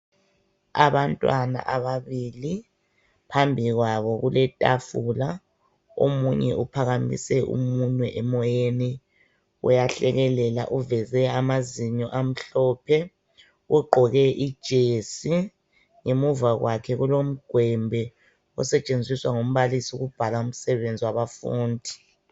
Abantwana ababili phambi kwabo kuletafula omunye uphakamise umunwe emoyeni uyahlekelela uveze amazinyo amhlophe ugqoke ijesi ngemuva kwakhe kulomgwembe osetshenziswa ngumbalisi ukubhala umsebenzi wabafundi.